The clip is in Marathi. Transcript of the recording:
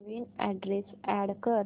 नवीन अॅड्रेस अॅड कर